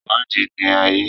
Ìwádìí ni ayé.